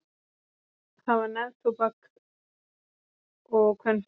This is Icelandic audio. Það var neftóbak og kvenfólk.